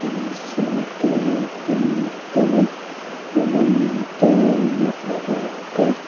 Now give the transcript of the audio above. pencil te pen te rawng te nawhreh te --